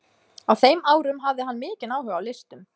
Á þeim árum hafði hann mikinn áhuga á listum.